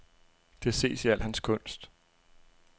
Det ses i al hans kunst.